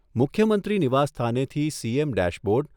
મુખ્યમંત્રી નિવાસસ્થાનેથી CM dashboard